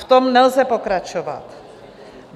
V tom nelze pokračovat.